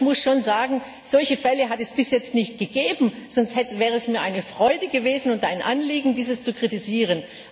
Ich muss schon sagen Solche Fälle hat es bis jetzt nicht gegeben, sonst wäre es mir eine Freude gewesen und ein Anliegen, dies zu kritisieren.